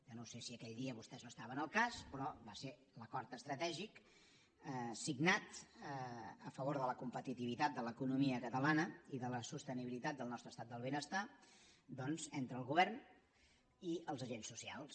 jo no sé si aquell dia vostès no estaven al cas però va ser l’acord estratègic signat a favor de la competitivitat de l’economia catalana i de la sostenibilitat del nostre estat del benestar doncs entre el govern i els agents socials